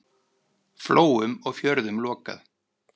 Flóum og fjörðum lokað.